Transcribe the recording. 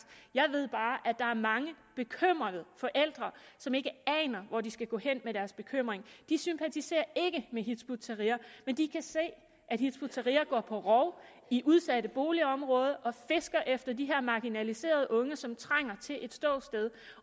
jeg ved bare at der er mange bekymrede forældre som ikke aner hvor de skal gå hen med deres bekymring de sympatiserer ikke med til hizb ut tahrir men de kan se at hizb ut tahrir går på rov i udsatte boligområder og fisker efter de her marginaliserede unge som trænger til et ståsted